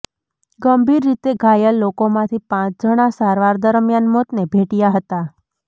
ગંભીર રીતે ઘાયલ લોકોમાંથી પાંચ જણા સારવાર દરમિયાન મોતને ભેટ્યા હતા